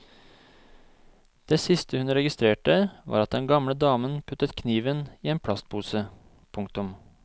Det siste hun registrerte var at den gamle damen puttet kniven i en plastpose. punktum